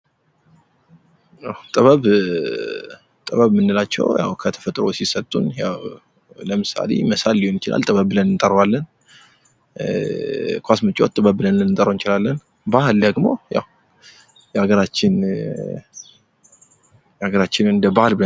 ጥበብ ምንላቸው ያው ከተፈጥሮ ሲሰጡ ያው ለምሳሌ መሳል ሊሆን ይችላል ጥበብ ብለን እንጠራዋለን። ኳስ መጫወት ጥበብ ብለን ልንጠራው እንችላለን ። ባህል ደግሞ ያው የአገራችን እንደ ባህል ...